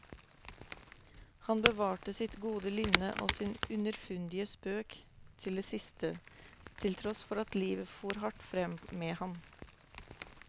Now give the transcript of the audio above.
Han bevarte sitt gode lynne og sin underfundige spøk til det siste, til tross for at livet fór hardt frem med ham.